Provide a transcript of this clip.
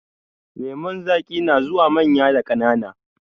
Lemun zaƙi na zuwa manya da ƙanana.